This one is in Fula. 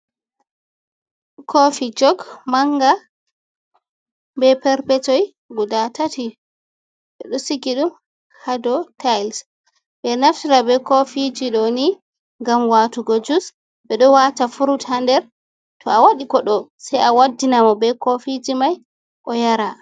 Kofi jog manga be perpetoi guda tati, ɓe ɗo sigi ɗum ha dou tails. Ɓe ɗo naftira be kofiji ɗo ni ngam watugo jus, ɓe ɗo wata frut ha nder to a waɗi koɗo, sei a waddina mo be kofiji mai o yara.